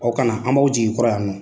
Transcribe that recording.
Aw kana an b'aw jigin kɔrɔ yan nɔ